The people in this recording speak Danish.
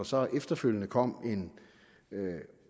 så efterfølgende kom en